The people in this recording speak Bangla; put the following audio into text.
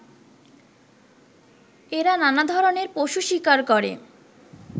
এরা নানাধরনের পশু শিকার করে